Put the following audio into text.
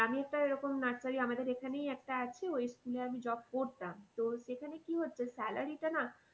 আমি একটা এরকম nursery আমাদের এখানেই একটা আছে ওই school এ আমি job করতাম। তো সেখানে কি হচ্ছে salary টা না